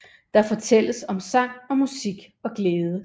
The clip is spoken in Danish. Der fortælles om sang og musik og glæde